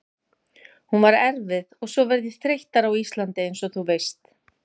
Hún var erfið og svo verð ég þreyttari á Íslandi einsog þú veist.